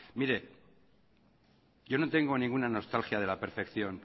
mire yo no tengo ninguna nostalgia de la percepción